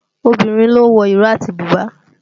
Obìnrin ló ń wo ìró àti bùbá